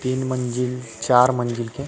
तीन मंज़िल चार मंज़िल के